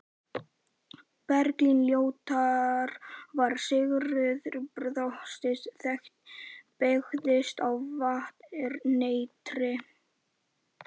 Bergljótar var Sigríður Þóroddsdóttir, beykis á Vatneyri.